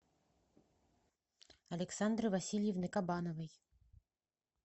александры васильевны кабановой